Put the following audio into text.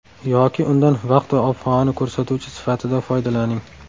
Yoki undan vaqt va ob-havoni ko‘rsatuvchi sifatida foydalaning.